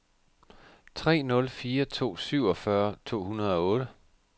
tre nul fire to syvogfyrre to hundrede og otte